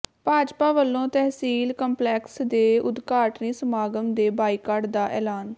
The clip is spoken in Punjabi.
ਭਾਜਪਾ ਵੱਲੋਂ ਤਹਿਸੀਲ ਕੰਪਲੈਕਸ ਦੇ ਉਦਘਾਟਨੀ ਸਮਾਗਮ ਦੇ ਬਾਈਕਾਟ ਦਾ ਐਲਾਨ